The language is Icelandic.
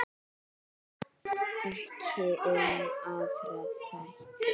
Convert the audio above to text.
Ekki um aðra þætti.